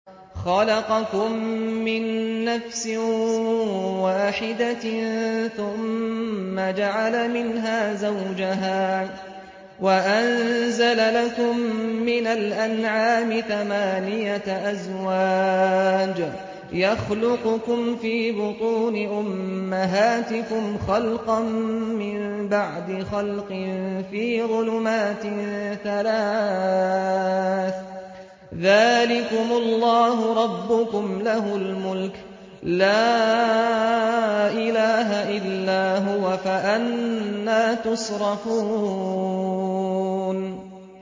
خَلَقَكُم مِّن نَّفْسٍ وَاحِدَةٍ ثُمَّ جَعَلَ مِنْهَا زَوْجَهَا وَأَنزَلَ لَكُم مِّنَ الْأَنْعَامِ ثَمَانِيَةَ أَزْوَاجٍ ۚ يَخْلُقُكُمْ فِي بُطُونِ أُمَّهَاتِكُمْ خَلْقًا مِّن بَعْدِ خَلْقٍ فِي ظُلُمَاتٍ ثَلَاثٍ ۚ ذَٰلِكُمُ اللَّهُ رَبُّكُمْ لَهُ الْمُلْكُ ۖ لَا إِلَٰهَ إِلَّا هُوَ ۖ فَأَنَّىٰ تُصْرَفُونَ